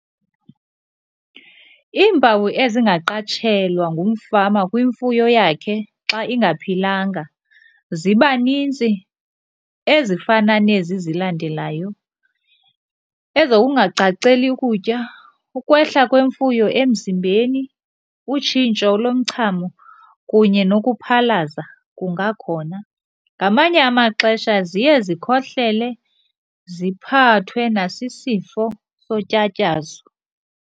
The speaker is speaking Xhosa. Iimpawu ezingaqatshelwa ngumfama kwimfuyo yakhe xa ingaphilanga ziba nintsi, ezifana nezi zilandelayo. Ezokungacaceli ukutya, ukwehla kwemfuyo emzimbeni, utshintsho lomchamo kunye nokuphalaza kungakhona. Ngamanye amaxesha ziye zikhohlele ziphathwe nasisifo sotyatyazo.